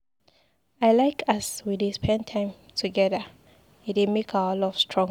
I like as we dey spend plenty time together, e dey make our love strong.